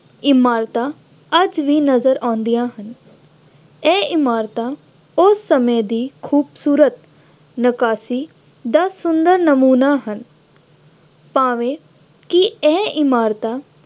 ਇਮਾਰਤਾਂ ਆਦਿ ਵੀ ਨਜ਼ਰ ਆਉਂਦੀਆਂ ਹਨ। ਇਹ ਇਮਾਰਤਾਂ ਉਸ ਸਮੇਂ ਦੀ ਖੂਬਸੂਰਤ ਨਿਕਾਸੀ ਦਾ ਸੁੰਦਰ ਨਮੂਨਾ ਹਨ ਭਾਵੇਂ ਕਿ ਇਹ ਇਮਾਰਤਾਂ